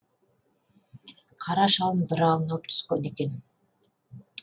қара шалым бір аунап түскен екен